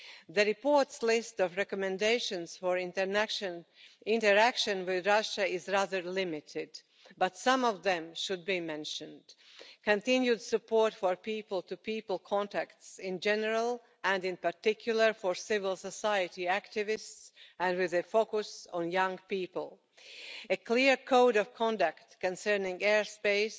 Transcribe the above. The report's list of recommendations for interaction with Russia is rather limited, but some of them should be mentioned continued support for people to people contacts in general particularly involving civil society activists and with a focus on young people and a clear code of conduct concerning airspace